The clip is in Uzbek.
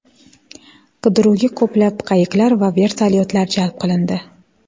Qidiruvga ko‘plab qayiqlar va vertolyotlar jalb qilindi.